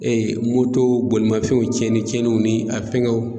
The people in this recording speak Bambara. Ee moto bolimafɛnw tiɲɛnni tiɲɛnniw ni a fɛngɛw